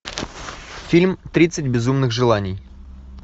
фильм тридцать безумных желаний